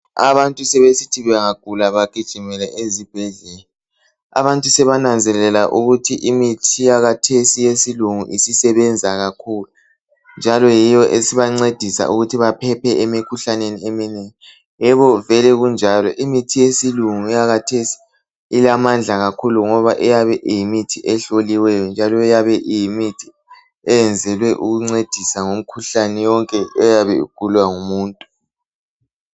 Abantu sebesithi bangagula bagijimele ezibhedlela. Abantu sebananzelela ukuthi imithi yakathesi eyesilungu isebenza kakhulu njalo yiyo esibancedisa ukuthi baphephe emikhuhlaneni eminengi. Yebo vele kunjalo imithi yesilungu eyakathesi ilamandla kakhulu ngoba iyabe iyimithi behloliweyo njalo iyabe iyimithi eyenzelwe ukuncedisa ngemikhuhlane yonke eyabe igulwa ngumuntu.